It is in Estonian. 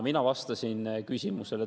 Mina vastasin küsimusele.